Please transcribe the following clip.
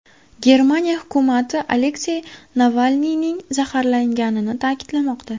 Germaniya hukumati Aleksey Navalniyning zaharlanganini ta’kidlamoqda.